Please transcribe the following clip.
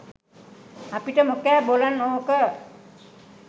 අපිට මොකෑ බොලන් ඕක